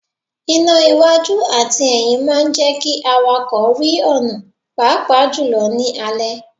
Iná iwájú àti ẹyín máa ń jẹ́ kí àwàkọ̀ rí ọ̀nà pàápàá jù lọ ní alẹ́.